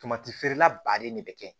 Tomati feerela baden ne bɛ kɛ